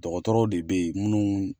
Dɔgɔtɔrɔ de bɛ yen minnu.